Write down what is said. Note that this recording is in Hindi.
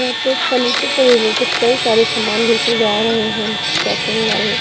यहां पे फर्नीचर से रिलेटेड कई सारे सामान बेचे जा रहे हैं जैसे हम--